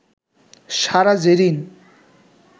Sara Zerin